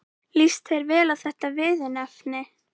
Líst þér vel á þetta viðurnefni?